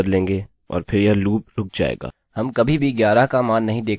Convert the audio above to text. यदि हम इसे रिफ्रेशrefresh करते हैं हम देख सकते हैं कि अब यहाँ पर 1 से 10 तक है